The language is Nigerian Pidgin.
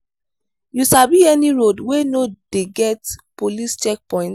you sabi any road wey no dey get police checkpoints?